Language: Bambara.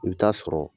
I bɛ taa sɔrɔ